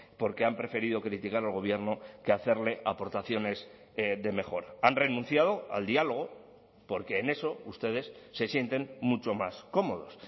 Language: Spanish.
porque han preferido criticar al gobierno que hacerle aportaciones de mejora han renunciado al diálogo porque en eso ustedes se sienten mucho más cómodos